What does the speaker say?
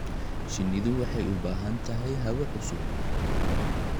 Shinnidu waxay u baahan tahay hawo cusub.